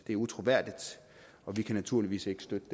er utroværdigt og vi kan naturligvis ikke støtte